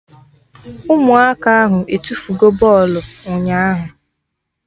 Ụmụaka ahụ etufugo bọlụ ụnyaahụ